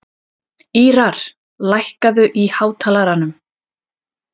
Ýrar, lækkaðu í hátalaranum.